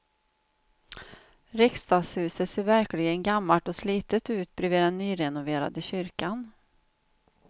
Riksdagshuset ser verkligen gammalt och slitet ut bredvid den nyrenoverade kyrkan.